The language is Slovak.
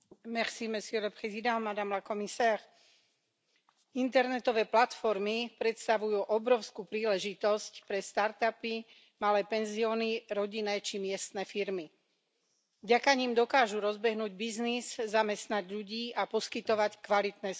Vážený pán predsedajúci, internetové platformy predstavujú obrovskú príležitosť pre startupy, malé penzióny, rodinné či miestne firmy. Vďaka nim dokážu rozbehnúť biznis, zamestnať ľudí a poskytovať kvalitné služby.